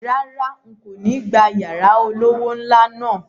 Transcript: Rárá, n̄ kò ní gba yàrá olówó ńlá náà